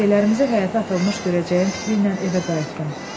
Şeylərimizi həyətə atılmış görəcəyəm fikri ilə evə qayıtdım.